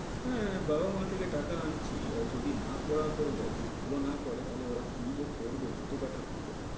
হ্যাঁ বাবা মা থেকে টাকা আনছি আর যদি না পড়া করে যাও যদি ভালো না করে তাহলে ওরা কি যে করবে জুতো পেটা করবে।